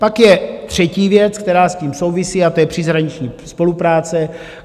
Pak je třetí věc, která s tím souvisí, a to je příhraniční spolupráce.